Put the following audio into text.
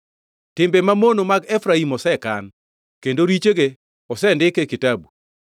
Timbe mamono mag Efraim osekan, kendo richoge osendik e kitabu.